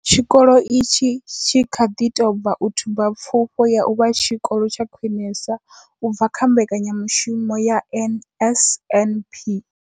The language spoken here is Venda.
Tshikolo itshi tshi kha ḓi tou bva u thuba Pfufho ya u vha Tshikolo tsha Khwinesa u bva kha mbekanyamushumo ya NSNP.